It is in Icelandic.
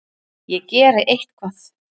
Ég geri eitthvað.